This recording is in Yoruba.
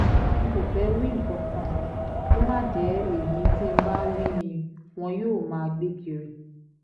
n kò fẹ́ẹ́ wí nǹkan kan kó má jẹ́ èyí tí ǹ bá wí ni wọn yóò máa gbé kiri